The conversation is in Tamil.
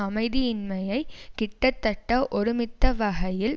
அமைதியின்மையை கிட்டத்தட்ட ஒருமித்த வகையில்